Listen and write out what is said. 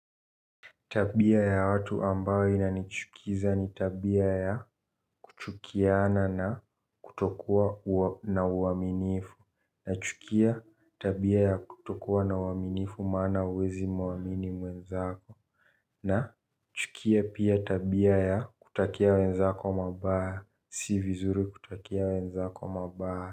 Tabia ya watu ambayo inanichukiza ni tabia ya kuchukiana na kutokua na uaminifu. Nachukia tabia ya kutokua na uaminifu maana huwezi muamini mwenzako. Nachukia pia tabia ya kutakia wenzako mabaya, si vizuri kutakia wenzako mabaya.